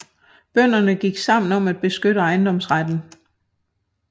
Bønderne gik sammen om at beskytte ejendomsretten